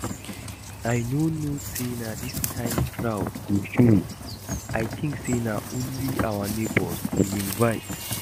I no know say dis kin crowd go show, I think say na only our neighbours we invite